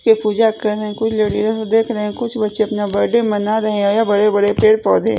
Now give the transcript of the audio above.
ये पूजा कर रहे हैं कोई देख रहे हैं कुछ बच्चे अपना बर्थडे मना रहे हैं यहां बड़े बड़े पेड़ पौधे--